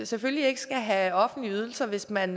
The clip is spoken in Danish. selvfølgelig ikke skal have offentlige ydelser hvis man